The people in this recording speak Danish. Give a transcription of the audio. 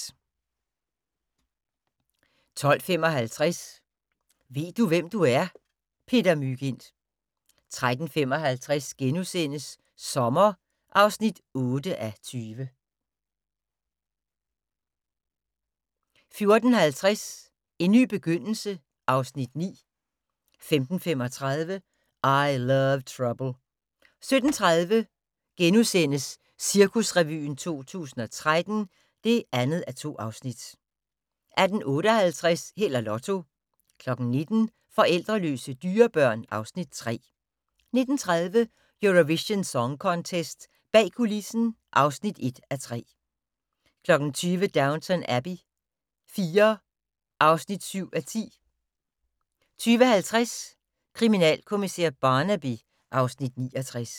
12:55: Ved du, hvem du er? - Peter Mygind 13:55: Sommer (8:20)* 14:50: En ny begyndelse (Afs. 9) 15:35: I Love Trouble 17:30: Cirkusrevyen 2013 (2:2)* 18:58: Held og Lotto 19:00: Forældreløse dyrebørn (Afs. 3) 19:30: Eurovision Song Contest - bag kulissen (1:3) 20:00: Downton Abbey IV (7:10) 20:50: Kriminalkommissær Barnaby (Afs. 69)